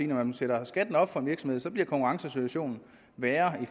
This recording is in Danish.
man sætter skatten op for en virksomhed bliver konkurrencesituationen værre i